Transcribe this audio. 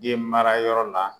Den mara yɔrɔ la